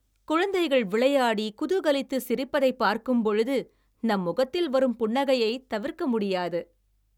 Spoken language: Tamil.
குழந்தைகள் விளையாடி குதூகலித்து சிரிப்பதை பார்க்கும் பொழுது நம் முகத்தில் வரும் புன்னகையை தவிர்க்க முடியாது